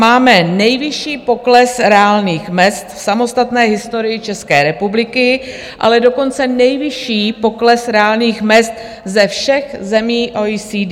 Máme nejvyšší pokles reálných mezd v samostatné historii České republiky, ale dokonce nejvyšší pokles reálných mezd ze všech zemí OECD.